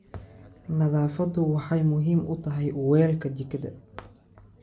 Nadaafadu waxay muhiim u tahay weelka jikada.